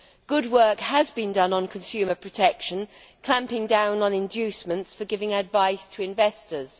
Good work has been done on consumer protection, clamping down on inducements for giving advice to investors.